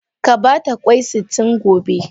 Ka ba ta kwai sitin gobe.